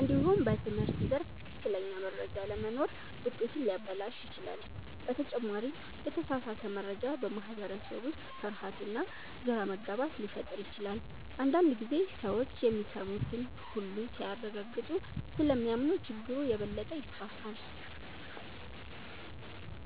እንዲሁም በትምህርት ዘርፍ ትክክለኛ መረጃ አለመኖር ውጤትን ሊያበላሽ ይችላል። በተጨማሪም የተሳሳተ መረጃ በማህበረሰብ ውስጥ ፍርሃትና ግራ መጋባት ሊፈጥር ይችላል። አንዳንድ ጊዜ ሰዎች የሚሰሙትን ሁሉ ሳያረጋግጡ ስለሚያምኑ ችግሩ የበለጠ ይስፋፋል።